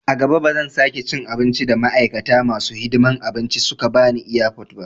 A gaba ba zan sake cin abin da ma'aikata masu hidiman abinci suka bani airport ba